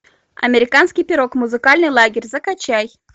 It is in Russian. американский пирог музыкальный лагерь закачай